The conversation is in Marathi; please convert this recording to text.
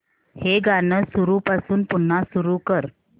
हे गाणं सुरूपासून पुन्हा सुरू कर